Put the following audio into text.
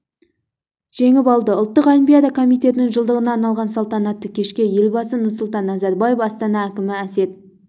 жеңіп алды ұлттық олимпиада комитетінің жылдығына арналған салтанатты кешке елбасы нұрсұлтан назарбаев астана әкімі әсет